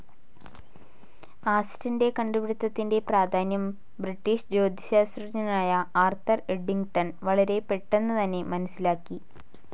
ആസ്റ്റന്റെ കണ്ടുപിടിത്തത്തിന്റെ പ്രാധാന്യം ബ്രിട്ടീഷ് ജ്യോതിശാസ്ത്രജ്ഞനായ ആർതർ ഏഡിങ്ങ്ടൻ വളരെ പെട്ടെന്ന് തന്നെ മനസ്സിലാക്കി.